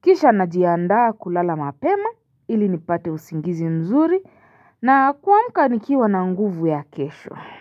Kisha najiandaa kulala mapema ili nipate usingizi mzuri na kuamka nikiwa na nguvu ya kesho.